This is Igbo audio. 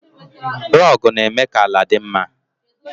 Rogu na-eme ka ala dị mma.